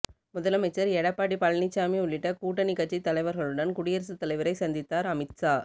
முதலமைச்சர் எடப்பாடி பழனிசாமி உள்ளிட்ட கூட்டணி கட்சி தலைவர்களுடன் குடியரசுத் தலைவரை சந்தித்தார் அமித் ஷா